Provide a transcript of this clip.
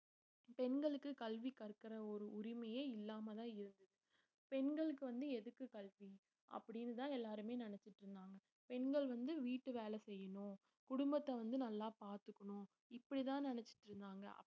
பெண்களுக்கு கல்வி கற்கிற ஒரு உரிமையே இல்லாமதான் இருக்கு பெண்களுக்கு வந்து எதுக்கு கல்வி அப்படின்னுதான் எல்லாருமே நினைச்சுட்டு இருந்தாங்க பெண்கள் வந்து வீட்டு வேலை செய்யணும் குடும்பத்தை வந்து நல்லா பாத்துக்கணும் இப்படித்தான் நினைச்சுட்டு இருந்தாங்க